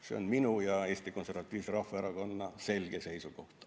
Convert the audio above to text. See on minu ja Eesti Konservatiivse Rahvaerakonna selge seisukoht.